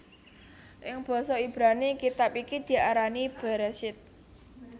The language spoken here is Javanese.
Ing basa Ibrani kitab iki diarani Bereshit